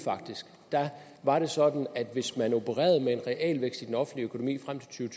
var sådan at hvis man opererede med en realvækst i den offentlige økonomi frem til